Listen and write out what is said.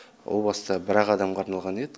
о баста бір ақ адамға арналған еді